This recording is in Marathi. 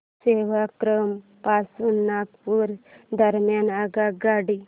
सेवाग्राम पासून नागपूर दरम्यान आगगाडी